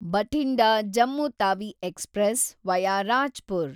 Bathinda, Jammu Tawi express, via Rajpur